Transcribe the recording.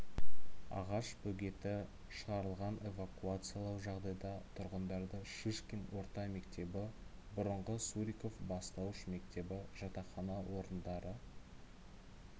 ағаш бөгеті шығарылған эвакуациялау жағдайда тұрғындарды шишкин орта мектебі бұрынғы суриков бастауыш мектебі жатақхана орындары